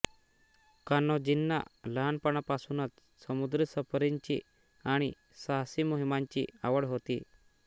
कान्होजींना लहानपणापासूनच समुद्री सफरींची आणि साहसी मोहिमांची आवड होती